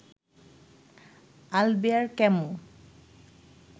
Albert Camus